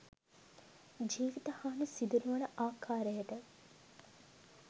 ජීවිත හානි සිදු නොවන ආකාරයට